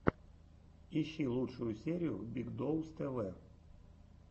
ищи лучшую серию биг доус тэ вэ